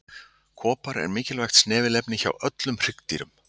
Kopar er mikilvægt snefilefni hjá öllum hryggdýrum.